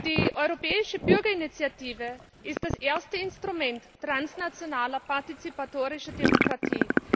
Die Europäische Bürgerinitiative ist das erste Instrument transnationaler partizipatorischer Demokratie.